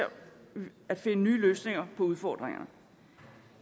at finde nye løsninger på udfordringer